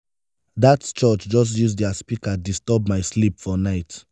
dat church just use their speaker disturb my sleep for night.